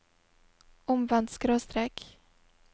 omvendt skråstrek